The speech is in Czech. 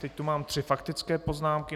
Teď tu mám tři faktické poznámky.